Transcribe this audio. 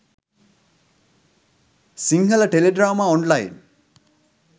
sinhala teledrama online